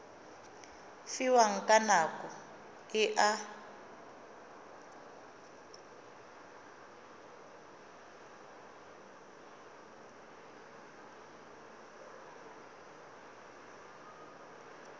fiwang ka nako e a